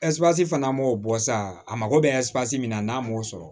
fana m'o bɔ sa a mago bɛ ze na n'a m'o sɔrɔ